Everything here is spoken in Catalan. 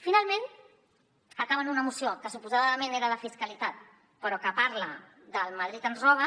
finalment una moció que suposadament era de fiscalitat però que parla del madrid ens roba